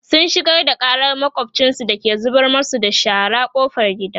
sun shigar da ƙarar makwafcinsu da ke zubar masu da shara ƙofar gida